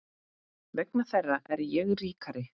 Vegna þeirra er ég ríkari.